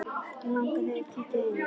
Langar þig að kíkja inn?